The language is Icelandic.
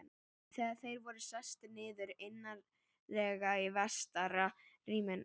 Þegar þeir voru sestir niður, innarlega í vestara rými